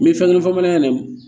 N bɛ fɛn dɔ fɔ bamanankan yɛrɛ